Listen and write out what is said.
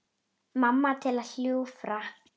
Mamma til að hjúfra.